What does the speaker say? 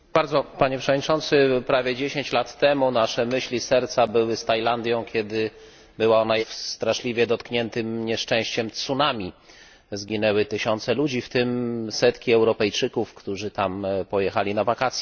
Panie Przewodniczący! Prawie 10 lat temu nasze myśli, serca były z Tajlandią, kiedy była ona jednym z krajów straszliwie dotkniętych nieszczęściem tsunami. Zginęły tysiące ludzi, w tym setki Europejczyków, którzy tam pojechali na wakacje.